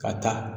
Ka taa